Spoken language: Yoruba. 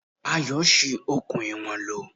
Ayọ̀ ṣi okùn ìwọ̀n lò.